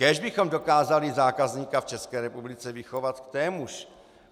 Kéž bychom dokázali zákazníka v České republice vychovat k témuž.